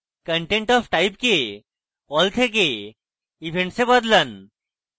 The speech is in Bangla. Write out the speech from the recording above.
content of type কে all থেকে events এ বদলান